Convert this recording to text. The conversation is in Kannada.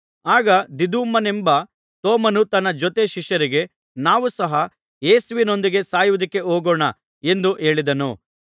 ಆಗ ದಿದುಮನೆಂಬ ತೋಮನು ತನ್ನ ಜೊತೆ ಶಿಷ್ಯರಿಗೆ ನಾವು ಸಹ ಯೇಸುವಿನೊಂದಿಗೆ ಸಾಯುವುದಕ್ಕೆ ಹೋಗೋಣ ಎಂದು ಹೇಳಿದನು